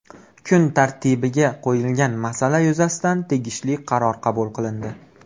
Kun tartibiga qo‘yilgan masala yuzasidan tegishli qaror qabul qilindi.